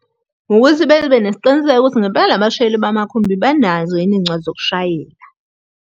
Ngokuthi bebe nesiqiniseko sokuthi ngempela laba bashayeli bamakhumbi banazo yini iy'ncwadi zokushayela.